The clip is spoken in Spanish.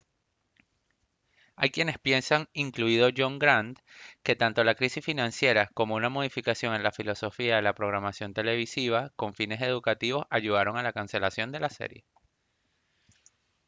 hay quienes piensan incluido john grant que tanto la crisis financiera como una modificación en la filosofía de la programación televisiva con fines educativos ayudaron a la cancelación de la serie